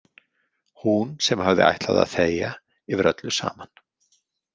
Hún sem hafði ætlað að þegja yfir öllu saman.